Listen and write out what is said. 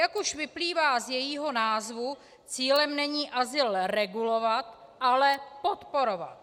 Jak už vyplývá z jejího názvu, cílem není azyl regulovat, ale podporovat.